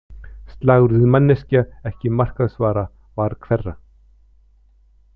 Slagorðið, “manneskja, ekki markaðsvara” var hverra?